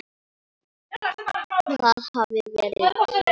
Það hafði verið í morgun.